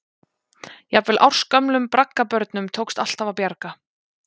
Jafnvel ársgömlum braggabörnum tókst alltaf að bjarga.